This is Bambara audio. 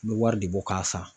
N bɛ wari de bɔ k'a san